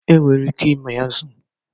E nwere ike ịmị azu.